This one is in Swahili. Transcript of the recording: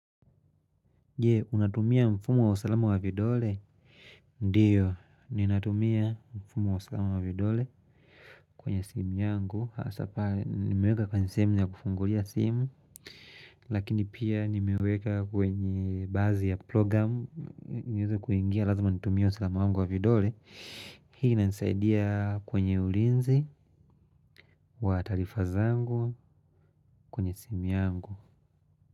Je, unatumia mfumo wa usalama wa vidole? Ndiyo, ninatumia mfumo wa usalama wa vidole kwenye simu yangu. Hasa pale, nimeweka kwenye sehemu ya kufungulia simu. Lakini pia nimeweka kwenye bazi ya programu. Niweze kuingia lazima nitumie usalama wangu wa vidole. Hii inanisaidia kwenye ulinzi, wa taarifa zangu, kwenye simu yangu.